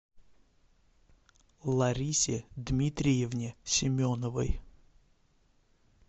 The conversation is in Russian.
ларисе дмитриевне семеновой